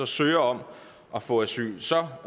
søger om at få asyl så